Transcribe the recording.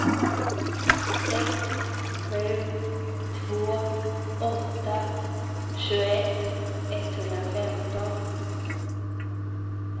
sex sju två åtta tjugoett etthundrafemton